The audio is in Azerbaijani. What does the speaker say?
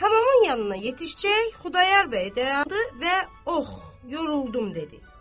Hamamın yanına yetişəcək, Xudayar bəy dayandı və "Ax, yoruldum" dedi.